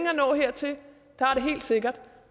at nå hertil det har det helt sikkert